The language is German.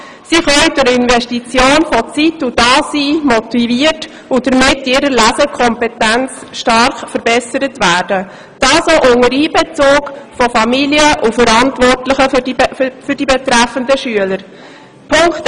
Sie können durch die Investition von Zeit und Da-Sein motiviert und damit in ihrer Lesekompetenz stark gefördert werden, dies auch unter Einbezug der Familien und der für die betreffenden Schüler Verantwortlichen.